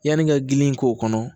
Yanni ka gili k'o kɔnɔ